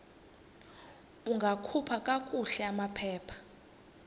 ungakhupha kakuhle amaphepha